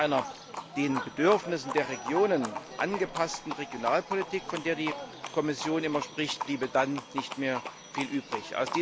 Von einer den Bedürfnissen der Regionen angepassten Regionalpolitik, von der die Kommission immer spricht, bliebe dann nicht mehr viel übrig.